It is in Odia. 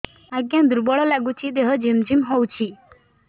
ଆଜ୍ଞା ଦୁର୍ବଳ ଲାଗୁଚି ଦେହ ଝିମଝିମ ହଉଛି